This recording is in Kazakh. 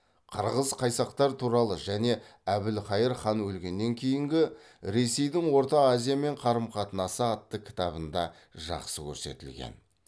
қырғыз қайсақтар туралы және әбілқайыр хан өлгеннен кейінгі ресейдің орта азиямен қарым қатынасы атты кітабында жақсы көрсетілген